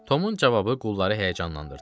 Tomun cavabı qulları həyəcanlandırdı.